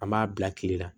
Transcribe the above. An b'a bila kile la